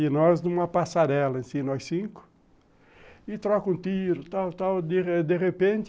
E nós numa passarela, nós cinco, e troca um tiro, tal, tal, de repente,